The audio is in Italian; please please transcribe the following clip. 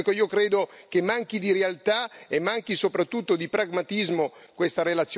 Ecco, credo che manchi di realtà e manchi soprattutto di pragmatismo questa relazione.